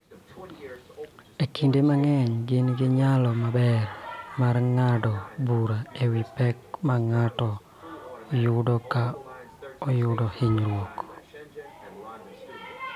Kinde mang�eny gin gi nyalo maber mar ng�ado bura e wi pek ma ng�ato yudo ka oyudo hinyruok.